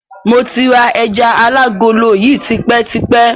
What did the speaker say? Mo ti ra ẹjà alágolo yìí tipẹ́ tipẹ́.